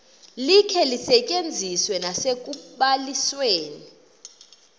likhe lisetyenziswe nasekubalisweni